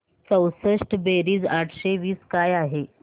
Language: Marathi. चौसष्ट बेरीज आठशे वीस काय आहे